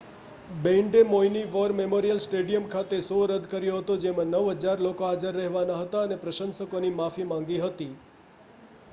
બેન્ડે મૌઈની war memorial stadium ખાતે show રદ કર્યો હતો જેમાં 9,000 લોકો હાજર રહેવાના હતા અને પ્રશંસકોની માફી માંગી હતી